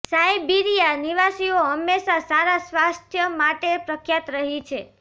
સાઇબિરીયા નિવાસીઓ હંમેશા સારા સ્વાસ્થ્ય માટે પ્રખ્યાત રહી છે